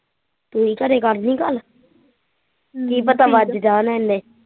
ਤੁਸੀਂ ਘਰੇ ਕਰਣੀ ਗੱਲ ਕੀ ਪਤਾ ਵੱਜ ਜਾਣ ਏਨੇ